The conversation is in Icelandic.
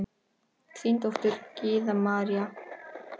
Þín dóttir, Gyða María.